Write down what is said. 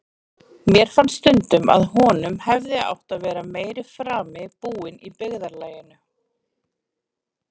Mér fannst stundum að honum hefði átt að vera meiri frami búinn í byggðarlaginu.